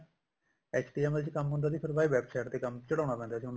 HTML ਚ ਕੰਮ ਹੁੰਦਾ ਸੀ ਫ਼ੇਰ ਸਰਾ website ਤੇ ਚੜਾਉਣ ਪੈਂਦਾ ਸੀ